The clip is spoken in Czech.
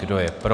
Kdo je pro?